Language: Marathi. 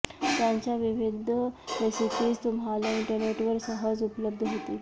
त्यांच्या विविध रेसिपीज तुम्हाला इंटरनेटवर सहज उपलब्ध होतील